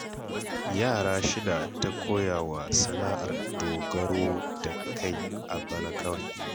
Yara shida ta koya wa sana'ar dogaro da kai a bana kawai